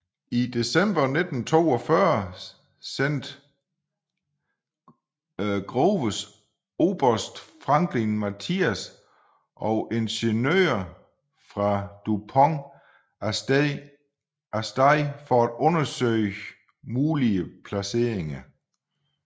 I december 1942 sendte Groves oberst Franklin Matthias og ingeniører fra DuPont af sted for at undersøge mulige placeringer